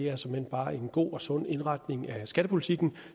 er såmænd bare en god og sund indretning af skattepolitikken